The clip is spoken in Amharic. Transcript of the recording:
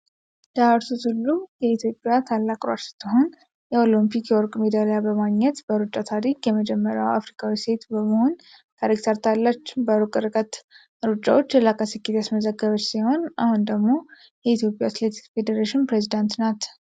ደራርቱ ቱሉ የኢትዮጵያ ታላቅ ሯጭ ስትሆን፣ የኦሎምፒክ የወርቅ ሜዳሊያ በማግኘት በሩጫ ታሪክ የመጀመሪያዋ አፍሪካዊት ሴት በመሆን ታሪክ ሠርታለች። በሩቅ ርቀት ሩጫዎች የላቀ ስኬት ያስመዘገበች ሲሆን፣ አሁን ደግሞ የኢትዮጵያ አትሌቲክስ ፌዴሬሽን ፕሬዝዳንት ናት።